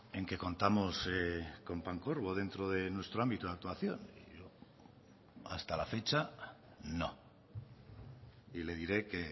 en que contamos con pancorbo dentro de nuestro ámbito de actuación yo hasta la fecha no y le diré que